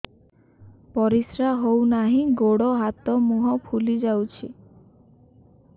ପରିସ୍ରା ହଉ ନାହିଁ ଗୋଡ଼ ହାତ ମୁହଁ ଫୁଲି ଯାଉଛି